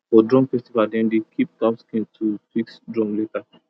for drum festival dem dey keep cow skin to fix drum later